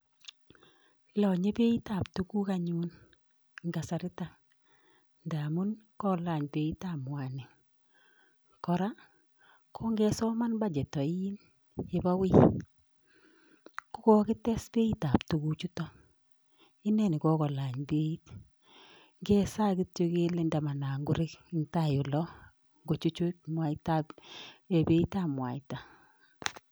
Lonyee beitabtuguk anyun en kasaritok. Ngamun kolany beitab mwanik, kora kon kesoman bachet oin, kokites beitab tuguchuton. Ineni kokolany beit, kesaa kityok kele tamanan koreng en tai olon, kochuchut beitab mwaita.